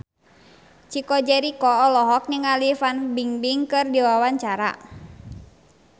Chico Jericho olohok ningali Fan Bingbing keur diwawancara